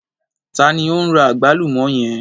Ta ni o n ra àgbálùmọ́ yẹn?